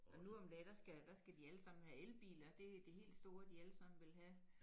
Og nu om dage der skal der skal de alle sammen have elbiler det det helt store de alle sammen vil have